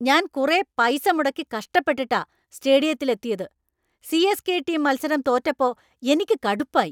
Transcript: ഞാൻ കുറെ പൈസ മുടക്കി കഷ്ടപെട്ടിട്ടാ സ്റ്റേഡിയത്തിൽ എത്തിയത്, സി.എസ്.കെ. ടീം മത്സരം തോറ്റപ്പോ എനിക്ക് കടുപ്പായി.